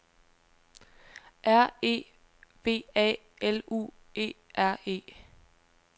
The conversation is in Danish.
R E V A L U E R E